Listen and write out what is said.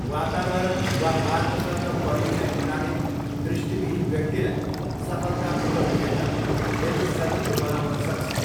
वातावरण वा मार्गसँग परिचित हुनाले दृष्टिविहीन व्यक्तिलाई सफलतापूर्वक हिँड्न धेरै सजिलो बनाउन सक्छ।